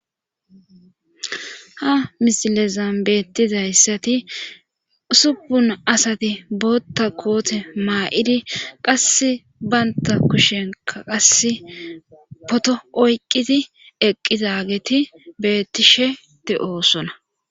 ha misilezambettizayssati supun asati bootta koote maa7idi qasse baynta kushenka qasse poto oyqqiti eqqizageti beettishe de7o sona